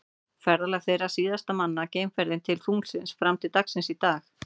Ferðalag þeirra var síðasta mannaða geimferðin til tunglsins fram til dagsins í dag.